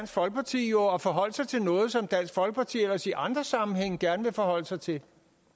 folkeparti jo at forholde sig til noget som dansk folkeparti ellers i andre sammenhænge gerne vil forholde sig til